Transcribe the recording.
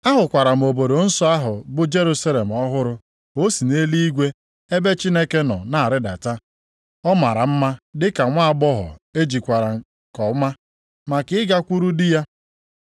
Ahụkwara obodo nsọ ahụ bụ Jerusalem ọhụrụ ka o si nʼeluigwe ebe Chineke nọ na-arịdata. Ọ mara mma dịka nwaagbọghọ ejikwara nke ọma maka ịgakwuru di ya.